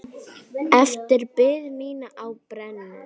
Eftir bið mína á brennu.